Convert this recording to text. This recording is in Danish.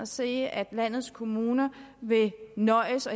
se at landets kommuner vil nøjes